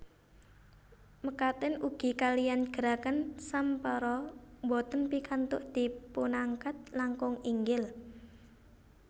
Mekaten ugi kaliyan gerakan sampara boten pikantuk dipunangkat langkung inggil